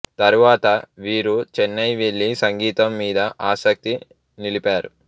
తరువాత వీరు చెన్నై వెళ్ళి సంగీతం మీద ఆసక్తి నిలిపారు